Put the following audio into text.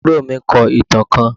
Àbúrò mi kọ ìtàn kán